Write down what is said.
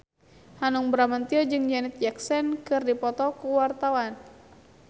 Hanung Bramantyo jeung Janet Jackson keur dipoto ku wartawan